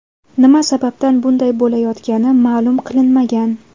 Nima sababdan bunday bo‘layotgani ma’lum qilinmagan.